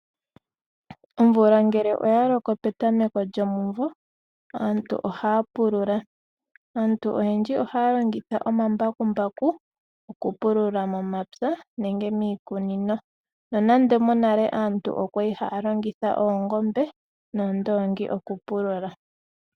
Omvula ngele oya loko petameko lyomumvo, aantu ohaya pulula. Aantu oyendji ohaya longitha omambakumbaku okupulula momapya nenge miikunini, nonando monale aantu oya li haa longitha oongoombe noondoongi okupulula.